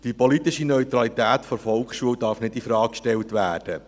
Die politische Neutralität der Volksschule darf nicht in Frage gestellt werden.